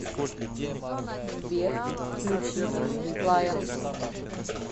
сбер включи лайон